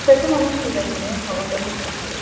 Səsim onun sürətini havadaca kəsir.